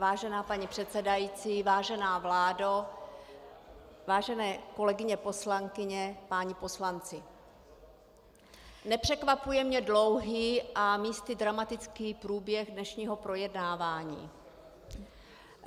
Vážená paní předsedající, vážená vládo, vážené kolegyně poslankyně, páni poslanci, nepřekvapuje mě dlouhý a místy dramatický průběh dnešního projednávání.